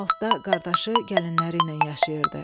altdə qardaşı gəlinləri ilə yaşayırdı.